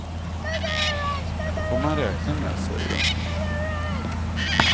Det får man räkna med, säger hon.